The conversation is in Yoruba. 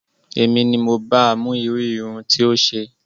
Èmi ni mo ba mú irú irun tí ó ṣe